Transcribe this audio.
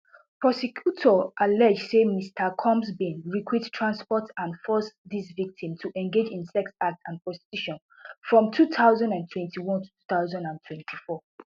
prosecutors allege saymr combsbin recruit transport and force dis victim to engage in sex acts and prostitution from two thousand and twenty-one to two thousand and twenty-four